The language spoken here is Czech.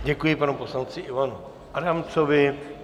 Děkuji panu poslanci Ivanu Adamcovi.